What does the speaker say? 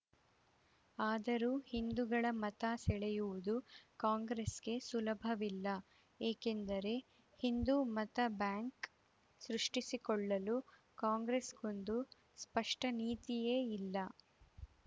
ಆದರೂ ಹಿಂದುಗಳ ಮತ ಸೆಳೆಯುವುದು ಕಾಂಗ್ರೆಸ್‌ಗೆ ಸುಲಭವಿಲ್ಲ ಏಕೆಂದರೆ ಹಿಂದು ಮತಬ್ಯಾಂಕ್‌ ಸೃಷ್ಟಿಸಿಕೊಳ್ಳಲು ಕಾಂಗ್ರೆಸ್‌ಗೊಂದು ಸ್ಪಷ್ಟನೀತಿಯೇ ಇಲ್ಲ